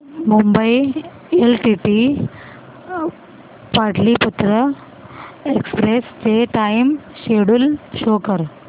Mumbai LTT Patliputra express चे time schedule show कर